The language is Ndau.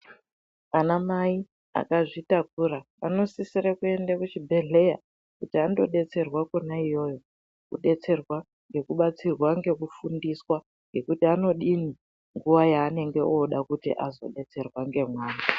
Ana mai vakazvitakura vanosisire kuende kuchibhedhleya kuti andobetserwa kona iyoyo kubetserwa ngekubatsirwa ngekufundiswa. Ngekuti anodini nguva yaanenge oda kuti azobetserwa ngemwana.